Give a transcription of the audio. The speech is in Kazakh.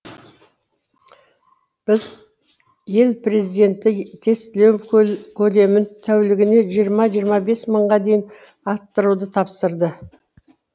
ел президенті тестілеу көлемін тәулігіне жиырма жиырма бес мыңға дейін арттыруды тапсырды